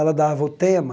Ela dava o tema.